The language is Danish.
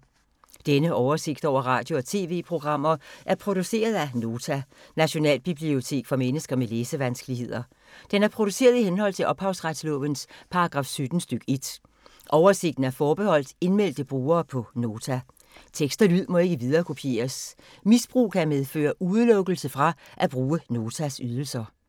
Denne oversigt over radio og TV-programmer er produceret af Nota, Nationalbibliotek for mennesker med læsevanskeligheder. Den er produceret i henhold til ophavsretslovens paragraf 17 stk. 1. Oversigten er forbeholdt indmeldte brugere på Nota. Tekst og lyd må ikke viderekopieres. Misbrug kan medføre udelukkelse fra at bruge Notas ydelser.